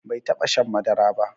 Bai taba shan madara ba